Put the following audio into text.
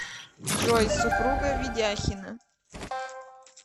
джой супруга ведяхина